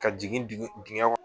Ka jigin dugu dingɛ